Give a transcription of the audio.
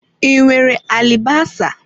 I nwere alibasa?